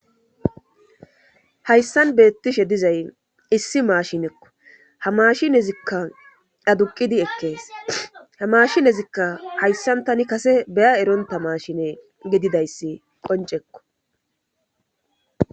Hayssan beettishe dizay issi maashinekko ha mashinezikka aduqidi ekkees ha maashinezikka hayssan tani kase beya eronta maashine gididayssi qoncekko.